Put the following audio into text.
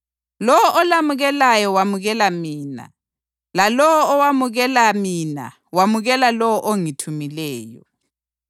Lowo olamukelayo wamukela mina, lalowo owamukela mina wamukela lowo ongithumileyo.